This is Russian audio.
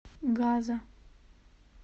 газа